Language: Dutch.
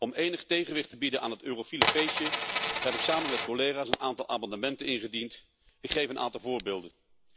Om enig tegenwicht te bieden aan het eurofiele feestje heb ik samen met collega's een aantal amendementen ingediend. Ik geef een aantal voorbeelden.